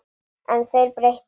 En þeir breyttu miklu.